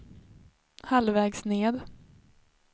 halvvägs ned